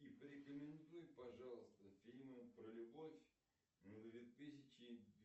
порекомендуй пожалуйста фильмы про любовь две тысячи